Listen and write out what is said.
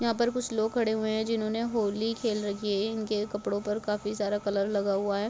यहाँ पर कुछ लोग खड़े हुए है जिन्होंने होली खेल रखी है इनके कपड़े पर काफ़ी सारा कलर लगा हुआ है।